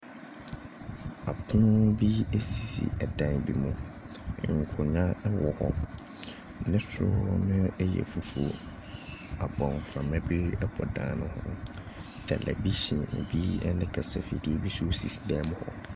Ɛpon bi sisi dan bi mu. Nkonnwa ɛwɔ hɔ. Ne soro no yɛ fufuo. Abɔmframa bi bɔ dan no mu. Tɛlɛvihyin bi ne kasafidie bi sisi dan mu hɔ.